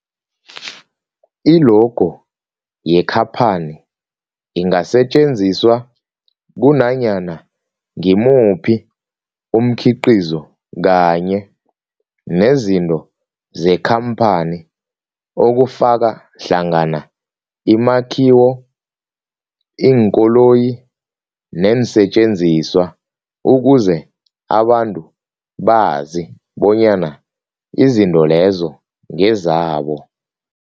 I-logo yekhaphani ingasetjenziswa kunanyana ngimuphi umkhiqizo kanye nezinto zekhamphani okufaka hlangana imakhiwo, iinkoloyi neensentjenziswa ukuze abantu bazi bonyana izinto lezo ngezabo.